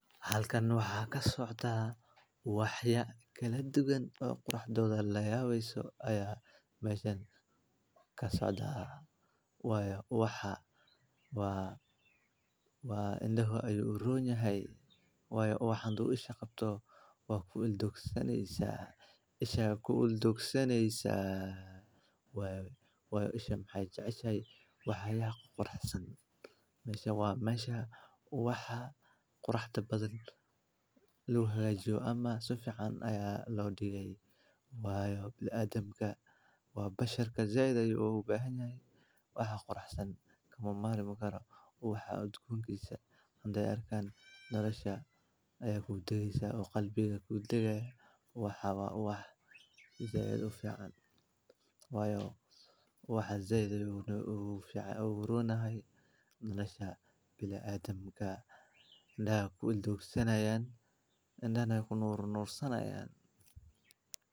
Halkan waxaa ka socdaa ubax qurux badan oo quruxdiisa la yaabeyso ayaa meesha ka socdaa. Waayo ubaxa indhaha ayuu u roon yahay, waayo ubaxa haddii uu isha qabto waa ku il doogsanaysaa. Isha ayaa ku il doogsanaysa, waayo isha waxay jeceshahay waxyaalaha quruxsan. Meeshaan waa meesha ubaxa quruxda badan lagu hagaajiyo ama si fiican ayaa loo dhigay. Waayo bini’aadamka waa bashar, si weyn ayuu ugu baahan yahay waxa quruxsan, kama maarmaan karo ubaxa. Udgoonkiisa haddii ay arkaan, nolosha ayaa ku dagaysaa oo qalbiga ayaa ku dagayaa. Ubaxa waa ubax si weyn ugu fiican, waayo ubaxa si weyn ayuu ugu roon yahay nolosha bini’aadamka. Indhaha ayaa ku il doogsanayaan, indahana waa ku nuur nuursanayaan.